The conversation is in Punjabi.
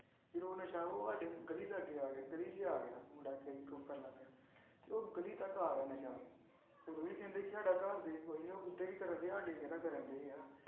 ਜਦੋਂ ਉਹ ਨਸ਼ਾ ਸਾਡੇ ਗਲੀ ਲਾਗੇ ਆ ਗਿਆ ਗਲੀ 'ਚ ਗਿਆ ਮੁੰਡਾ ਲੱਗ ਗਿਆ ਤੇ ਉਹ ਗਲੀ ਤੱਕ ਆ ਗਿਆ ਨਸ਼ਾ, ਉਦੋਂ ਵੀ ਕਹਿੰਦੇ ਕਿ ਸਾਡਾ ਘਰਦੇ ਕੋਈ ਨੀ ਉਹ ਉੱਧਰ ਹੀ ਕਰਦੇ ਸਾਡੇ ਕਿਹੜਾ ਕਰਨ ਦੇ ਆ।